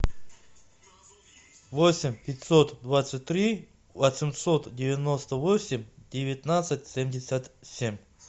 восемь пятьсот двадцать три восемьсот девяносто восемь девятнадцать семьдесят семь